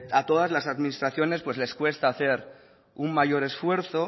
a todas las administraciones pues les cuesta hacer un mayor esfuerzo